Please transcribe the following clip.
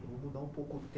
Vamos dar um pouco de